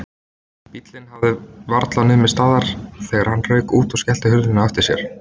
Bíllinn hafði varla numið staðar þegar hann rauk út og skellti hurðinni á eftir sér.